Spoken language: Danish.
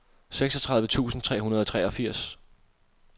seksogtredive tusind tre hundrede og treogfirs